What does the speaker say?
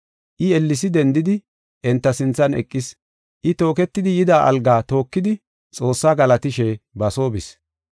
I ellesi dendidi enta sinthan eqis; I tooketidi yida algaa tookidi Xoossaa galatishe ba soo bis.